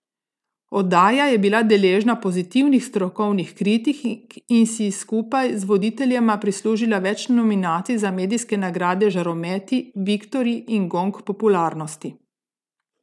Oddaja je bila deležna pozitivnih strokovnih kritik in si skupaj z voditeljema prislužila več nominacij za medijske nagrade Žarometi, Viktorji in Gong popularnosti.